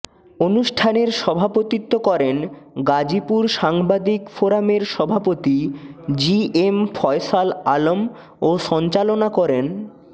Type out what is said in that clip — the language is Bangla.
অনুষ্ঠানের সভাপতিত্ব করেন গাজীপুর সাংবাদিক ফোরামের সভাপতি জিএম ফয়সাল আলম ও সঞ্চালনা করেন